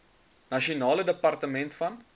nasionale departement van